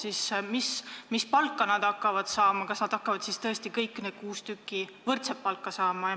Mis palka need töötajad hakkavad saama, kas tõesti hakkavad kõik need kuus tükki võrdset palka saama?